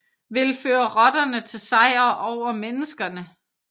Vil føre rotterne til sejr over menneskene